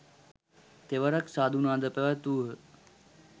තෙවරක් සාධුනාද පැවැත්වූහ.